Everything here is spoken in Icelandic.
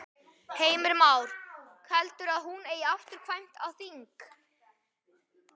Heimir Már: Heldurðu að hún eigi afturkvæmt á þing?